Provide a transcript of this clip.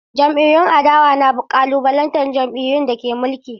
Jam’iyyun adawa na ƙalubalantar jam’iyyun da ke mulki.